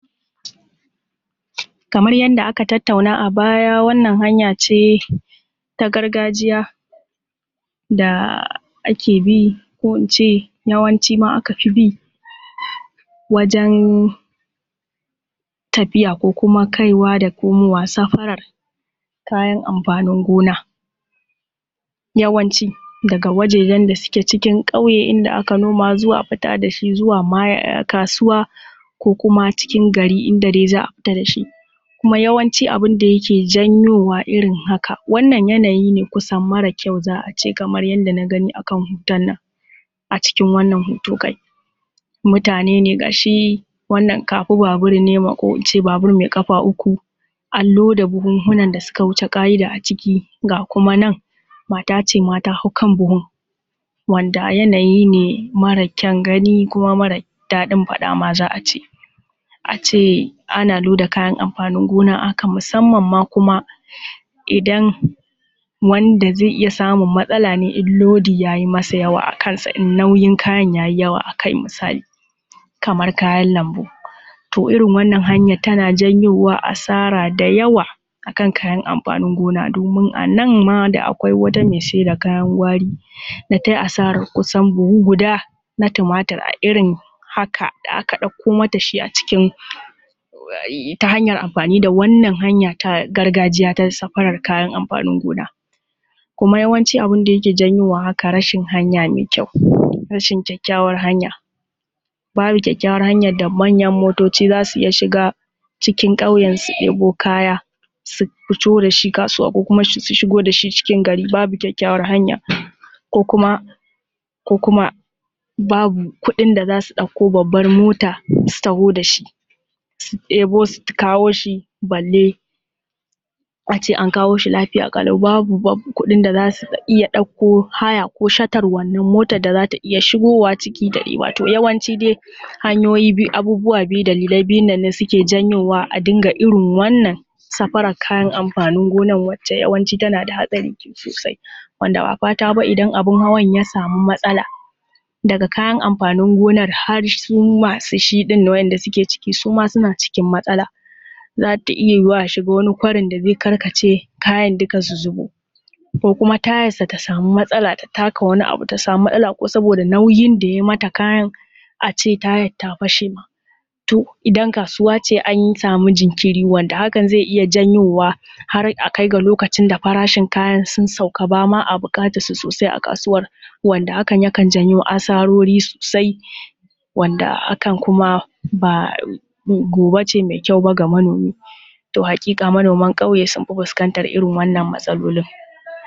Kamar yanda aka tattauna a baya wannan hanya ce ta gargajiya da ake bi ko ince yawanci ma aka fi bi wajen tafiya ko kuma kaiwa da komowa, safarar kayan amfanin gona. Yawanci daga wajejen da suke cikin ƙauye inda aka noma zuwa fita da shi zuwa ma kasuwa ko kuma cikin gari inda dai za a fita da shi, kuma yawanci abin da yake janyowa irin haka, wannan yanayi ne kusan mara kyau za a ce kamar yanda na gani akan hoton nan, acikin wannan hoto kai. Mutane ne ga shi wannan kafi-babur ne ko ince babur mai ƙafa uku, an loda buhunhunan da suka wuce ƙa’ida aciki, ga kuma nan, mat ace ma ta hau kan buhun, wanda yanayi ne mara kyan gani kuma mara daɗin faɗa ma za a ce. A ce ana loda kayan amfanin gona a haka, musamman ma kuma idan wanda zai iya samun matsala ne idan lodi ya yi masa yawa akansa, in nauyin kayan ya yi yawa a kai misali, kamar kayan lambu. To irin wannan hanyan tana janyowa asara dayawa akan kayan amfani gona, domin anan ma da akwai wata mai saida kayan gwari da tai asaran kusan buhu guda a irin haka da aka ɗauko mata shi acikin, ta hanyar amfani da wannan hanya ta gargajiya ta safarar kayan amfanin gona. Kuma yawanci abin da yake janyowa haka rashin hanya mai kyau, rashin kyakkyawar hanya, babu kyakkyawar hanyan da manyan motoci za su iya shiga cikin ƙauyen su ɗebo kaya su fito da shi kasuwa ko kuma su shigo da shi cikin gari, babu kyakkyawar hanya. Ko kuma, ko kuma babu kuɗin da za su ɗauko babbar mota su taho da shi, su ɗebo su kawo shi balle a ce an kawo shi lafiya ƙalau. Babu bab, babu kuɗin da su iya ɗauko haya ko shatar wannan motad da za ta iya shigowa ciki dai, yawanci dai hanyoyi biyu, abubuwa biyu, dalilai biyun nan suke janyowa a dinga irin wannan safarar kayan amfanin gonan wacce tana da hatsari sosai. Wanda ba fata ba idan abin hawan ya samu matsala, daga kayan amfanin gonar har su masu shi ɗin da waɗanda suke ciki suma suna cikin matsala. Za ta iya yiwuwa a shigo wani kwarin da zai karkace kayan duka su zubo, ko kuma tayarsa ta samu matsala ta taka wani abu, ta samu matsala ko saboda nauyin da ya mata kayan, a ce tayan ta fashe ma, to idan kasuwa ce an samu jinkiri, wanda hakan zai iya janyowa har a kai ga lokacin da farashin sun sauka, ba ma a buƙatar su sosai a kasuwar, wanda hakan yakan janyo asarori sosai, wanda hakan kuma ba gobe ce mai kyau bag a manomi. To haƙiƙa manoman ƙauye sun fi fuskantar waɗannan matsalolin.